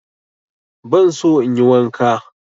Ban so in yi wanka.